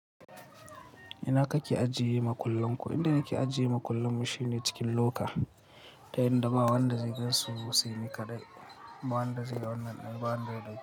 Ina kake ajiye makullan ku? Inda nake ajiye makullan mu shine cikin loka, ta yanda ba wanda zai gansu sai ni kaɗai. Ba wanda zai ga wannan ɗin, ba wanda zai.